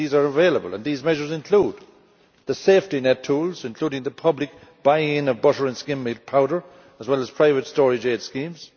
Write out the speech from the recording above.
These are available, and these measures include the safety net tools, including the public buying in of butter and skimmed milk powder as well as private storage aid schemes